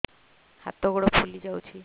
ହାତ ଗୋଡ଼ ଫୁଲି ଯାଉଛି